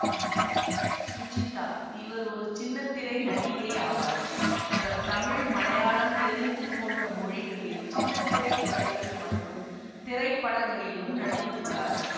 சுஜிதா இவர் ஒரு சின்ன திரை நடிகை ஆவார் இவர் தமிழ் மலையாளம் தெலுங்கு போன்ற மொழிகளில் சின்ன திரை தொடர்கள் மற்றும் திரைப்படங்களிலும் நடித்துள்ளார்